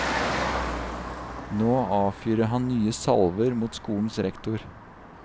Nå avfyrer han nye salver mot skolens rektor.